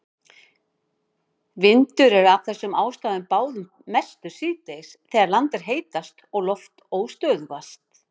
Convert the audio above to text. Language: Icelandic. Vindur er af þessum ástæðum báðum mestur síðdegis þegar land er heitast og loft óstöðugast.